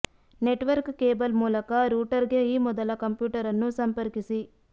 network cable ಮೂಲಕ ರೂಟರ್ಗೆ ಈ ಮೊದಲ ಕಂಪ್ಯೂಟರ್ ಅನ್ನು ಸಂಪರ್ಕಿಸಿ